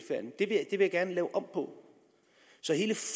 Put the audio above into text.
jeg gerne lave om på så hele